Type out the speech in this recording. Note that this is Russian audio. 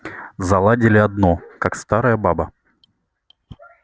заладили одно как старая баба